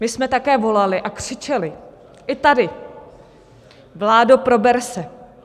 My jsme také volali a křičeli - i tady - vládo, prober se!